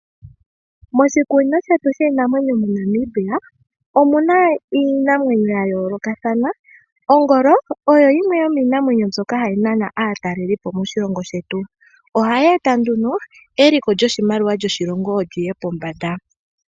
Moshikunino shetu shiinamwenyo moNamibia omuna iinamwenyo ya yoolokathana. Ongolo oyo yimwe yomiinamwenyo hayi nana aatalelipo moshilongo shetu. Ohayi eta nduno eliko lyoshimaliwa li ye pombanda.